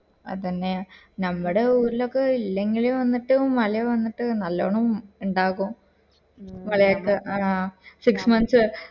അതന്നെ നമ്മടെ ഊരിലൊക്കെ ല്ലെങ്കിലും വന്നിട്ട് മല വന്നിട്ടും നല്ലോണം ഇണ്ടാകും നിങ്ങളെയൊക്കെ ആഹ് six months